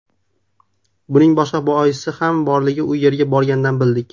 Buning boshqa boisi ham borligini u yerga borganda bildik.